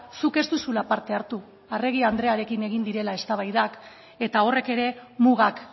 zuk ez duzula parte hartu arregi andrearekin egin direla eztabaidak eta horrek ere mugak